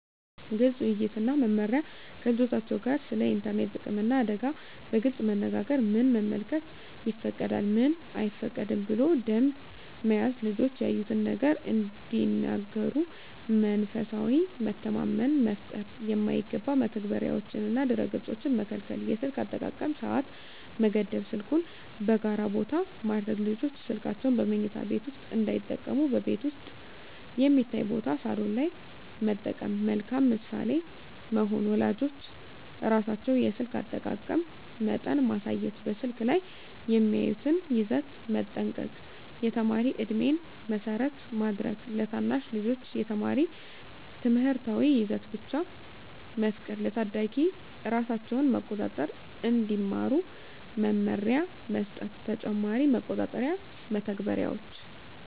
ግልፅ ውይይት እና መመሪያ ከልጆቻቸው ጋር ስለ ኢንተርኔት ጥቅምና አደጋ በግልፅ መነጋገር ምን መመልከት ይፈቀዳል፣ ምን አይፈቀድም ብሎ ደንብ መያዝ ልጆች ያዩትን ነገር እንዲነግሩ መንፈሳዊ መተማመን መፍጠር የማይገባ መተግበሪያዎችንና ድረ-ገፆችን መከልከል የስልክ አጠቃቀም ሰዓት መገደብ ስልኩን በጋራ ቦታ ማድረግ ልጆች ስልካቸውን በመኝታ ቤት ውስጥ እንዳይጠቀሙ በቤት ውስጥ የሚታይ ቦታ (ሳሎን) ላይ መጠቀም መልካም ምሳሌ መሆን ወላጆች ራሳቸው የስልክ አጠቃቀም መጠን ማሳየት በስልክ ላይ የሚያዩትን ይዘት መጠንቀቅ የተማሪ ዕድሜን መሰረት ማድረግ ለታናሽ ልጆች የተማሪ ትምህርታዊ ይዘት ብቻ መፍቀድ ለታዳጊዎች ራሳቸውን መቆጣጠር እንዲማሩ መመሪያ መስጠት ተጨማሪ መቆጣጠሪያ መተግበሪያዎች